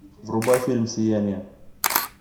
врубай фильм сияние